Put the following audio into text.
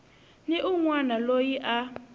ni un wana loyi a